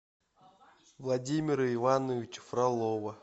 владимира ивановича фролова